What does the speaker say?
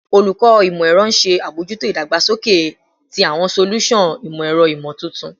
Olukọ Imọ-ẹrọ n ṣe abojuto idagbasoke ti awọn solusan imọ-ẹrọ imotuntun